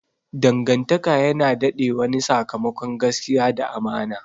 Dangantaka yana dade wane sakamakon gaskiya da amana.